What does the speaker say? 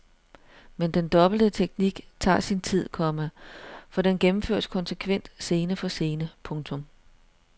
Men den dobbelte teknik tager sin tid, komma for den gennemføres konsekvent scene for scene. punktum